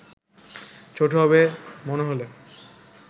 ছোট হবে মনে হলো